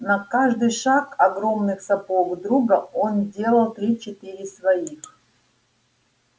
на каждый шаг огромных сапог друга он делал три-четыре своих